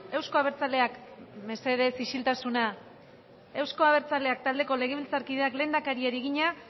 euzko abertzaleak mesedez isiltasuna euzko abertzaleak taldeko legebiltzarkideak lehendakariari egina